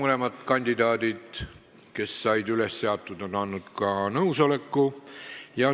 Mõlemad kandidaadid, kes üles seati, on andnud ka nõusoleku.